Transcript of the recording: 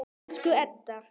Elsku Edda.